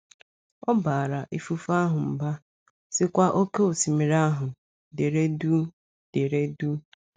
Ọ “ baara ifufe ahụ mba, sịkwa oké osimiri ahụ: ‘ dere duu ‘ dere duu!